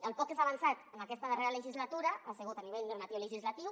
el poc que s’ha avançat en aquesta darrera legislatura ha sigut a nivell normatiu i legislatiu